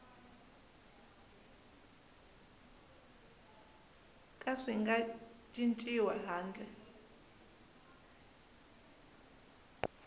ka swi nga cinciwi handle